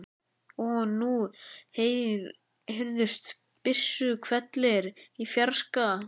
Og nú heyrðust byssuhvellir í fjarska.